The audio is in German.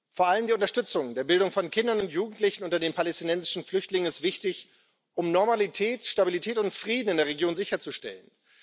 Vor allem die Unterstützung der Bildung von Kindern und Jugendlichen unter den palästinensischen Flüchtlingen ist wichtig, um Normalität, Stabilität und Frieden in der Region sicherzustellen.